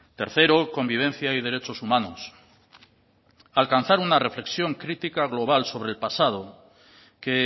tercero convivencia y derechos humanos alcanzar una reflexión crítica global sobre el pasado que